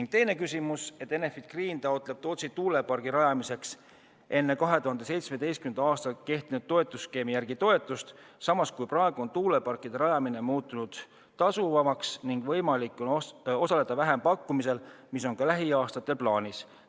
Ja teine küsimus: "Enefit Green taotleb Tootsi tuulepargi rajamiseks enne 2017. aastat kehtinud toetusskeemi järgi toetust, samas kui praegu on tuuleparkide rajamine muutunud tasuvamaks ning võimalik on osaleda vähempakkumisel, mis on ka lähiaastatel plaanis.